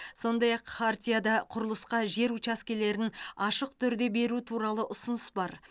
сондай ақ хартияда құрылысқа жер учаскелерін ашық түрде беру туралы ұсыныс бар